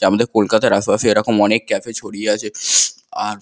আমাদের কলকাতার পাশে এরকম অনেক কাফে ছড়িয়ে আছে আ--